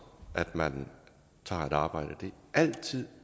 at man tager et arbejde det er altid